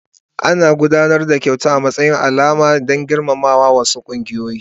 Ana gabatar da kyauta a matsayin alamar girmamawa a wasu kungiyoyi.